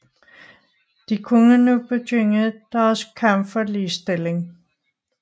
De kunne nu begynde deres kamp for ligestilling